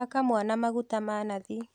Haka mwana maguta ma nathi.